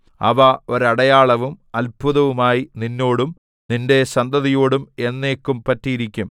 അവ ഒരടയാളവും അത്ഭുതവുമായി നിന്നോടും നിന്റെ സന്തതിയോടും എന്നേക്കും പറ്റിയിരിക്കും